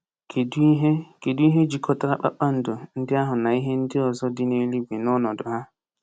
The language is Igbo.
Kedu ihe Kedu ihe jikọtara kpakpando ndị ahụ na ihe ndị ọzọ dị n’eluigwe n’ọnọdụ ha?